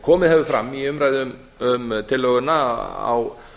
komið hefur fram í umræðu um tillöguna á